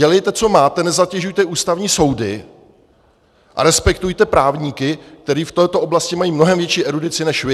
Dělejte, co máte, nezatěžujte ústavní soudy a respektujte právníky, kteří v této oblasti mají mnohem větší erudici než vy.